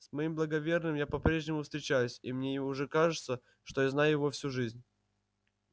с моим благоверным я по прежнему встречаюсь и мне уже кажется что знаю его всю жизнь